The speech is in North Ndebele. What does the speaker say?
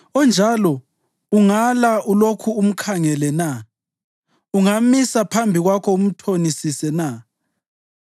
Onjalo ungala ulokhu umkhangele na? Ungamisa phambi kwakho umthonisise na?